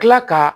Kila ka